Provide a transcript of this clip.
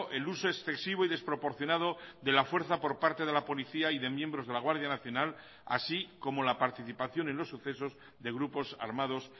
el uso excesivo y desproporcionado de la fuerza por parte de la policía y de miembros de la guardia nacional así como la participación en los sucesos de grupos armados